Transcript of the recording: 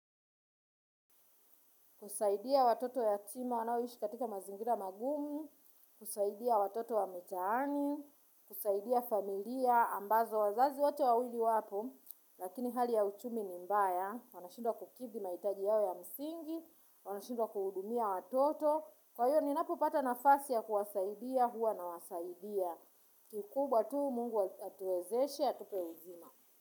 Kusaidia watoto yatima wanaoishi katika mazingira magumu, kusaidia watoto wa mitaani, kusaidia familia ambazo wazazi wote wawili wapo. Lakini hali ya uchumi ni mbaya, wanashindwa kukidhi maitaji yao ya msingi, wanashindwa kuhudumia watoto. Kwa hiyo ninapupata na fasi ya kuwasaidia huwa na wasaidia. Kikubwa tu mungu atuezeshe, atupe uzima.